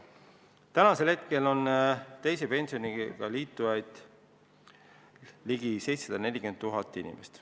Praegu on teise pensionisambaga liitunuid ligi 740 000 inimest.